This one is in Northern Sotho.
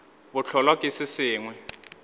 bo hlolwa ke se sengwe